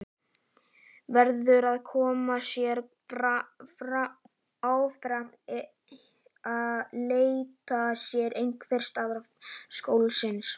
Verður að koma sér áfram, leita sér einhvers staðar skjóls.